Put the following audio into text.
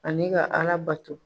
Ani ka ala bato.